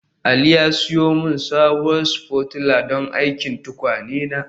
Ali ya siyo min sabuwar spatula don aikin tukwane na